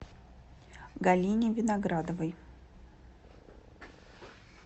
галине виноградовой